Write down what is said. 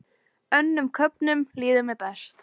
Önnum köfnum líður mér best.